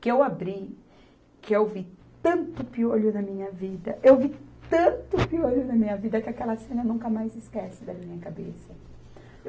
Que eu abri, que eu vi tanto piolho na minha vida, eu vi tanto piolho na minha vida, que aquela cena nunca mais esquece da minha cabeça.